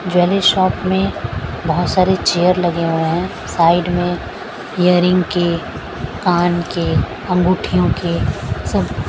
jewellery shop में बहुत सारे चेयर लगे हुए हैं साइड में ईयरिंग के कान के अँगूठियों के सब --